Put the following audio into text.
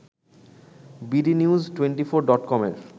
bdnews twenty four ডটকমের